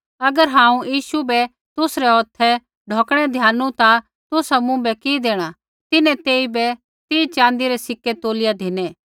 अगर हांऊँ यीशु बै तुसरै हौथै ढौकणै द्यानू ता तुसा मुँभै कि देणा तिन्हैं तेइबै तीह च़ाँदी रै सिक्कै तोलिया धिनै